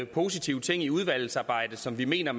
positive ting i udvalgsarbejdet som vi mener